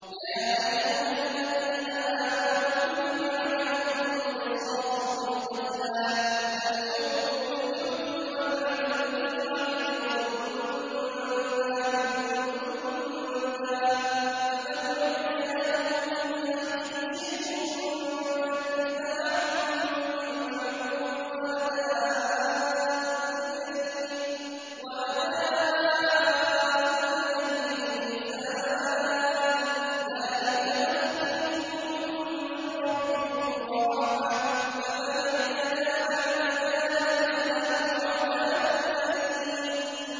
يَا أَيُّهَا الَّذِينَ آمَنُوا كُتِبَ عَلَيْكُمُ الْقِصَاصُ فِي الْقَتْلَى ۖ الْحُرُّ بِالْحُرِّ وَالْعَبْدُ بِالْعَبْدِ وَالْأُنثَىٰ بِالْأُنثَىٰ ۚ فَمَنْ عُفِيَ لَهُ مِنْ أَخِيهِ شَيْءٌ فَاتِّبَاعٌ بِالْمَعْرُوفِ وَأَدَاءٌ إِلَيْهِ بِإِحْسَانٍ ۗ ذَٰلِكَ تَخْفِيفٌ مِّن رَّبِّكُمْ وَرَحْمَةٌ ۗ فَمَنِ اعْتَدَىٰ بَعْدَ ذَٰلِكَ فَلَهُ عَذَابٌ أَلِيمٌ